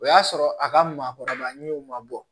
O y'a sɔrɔ a ka maakɔrɔba ɲew ma bɔ